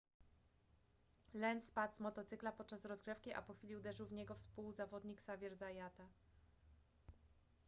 lenz spadł z motocykla podczas rozgrzewki a po chwili uderzył w niego współzawodnik xavier zayata